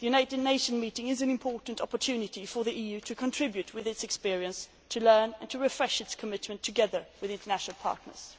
The United Nations meeting is an important opportunity for the EU to contribute with its experience, to learn and to refresh its commitment together with international partners.